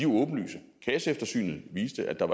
åbenlyse kasseeftersynet viste at der